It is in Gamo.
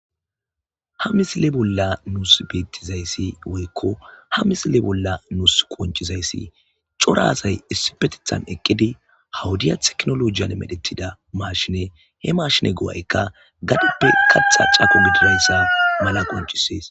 ha misile bolla nus beettizayssi woykko ha misile bolla nus qoncizayssi cora asay issipetethan eqqidi ha wodiya teknolojiyan medhetida mashine he mashine go'aykka gadeppe katha cako gididayssa mala qoncisees